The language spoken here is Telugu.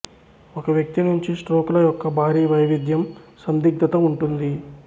ఒక వ్యక్తి నుంచి స్ట్రోక్ ల యొక్క భారీ వైవిధ్యం సందిగ్ధత ఉంటుంది